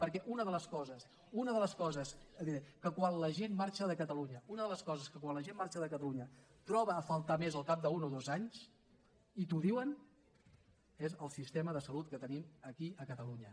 perquè una de les coses una de les coses que quan la gent marxa de catalunya una de les coses que quan la gent marxa de catalunya troba a faltar més al cap d’un o dos anys i t’ho diuen és el sistema de salut que tenim aquí a catalunya